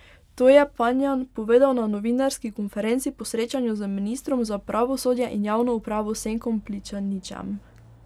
To je Panjan povedal na novinarski konferenci po srečanju z ministrom za pravosodje in javno upravo Senkom Pličaničem.